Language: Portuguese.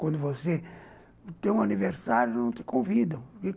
Quando você tem um aniversário, não te convidam.